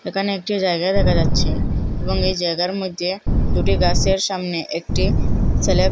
একানে একটি জায়গা দেখা যাচ্চে এবং এই জায়গার মইদ্যে দুটি গাসের সামনে একটি সেলে --